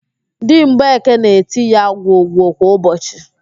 Di mgbeke na-eti ya gwogwo kwa ụbọchị